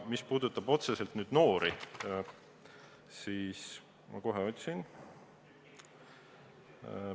Mis puudutab otseselt noori, siis ma kohe otsin ...